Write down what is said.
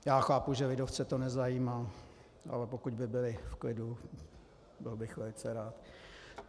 Já chápu, že lidovce to nezajímá, ale pokud by byli v klidu, byl bych velice rád.